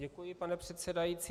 Děkuji, pane předsedající.